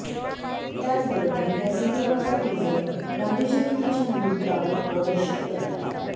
त्याचबरोबर या सिनेमाचा टिझर गांधी जयंतीच्या मुहूर्तावर प्रदर्शित करण्यात आला